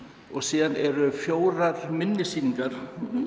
og síðan eru fjórar minni sýningar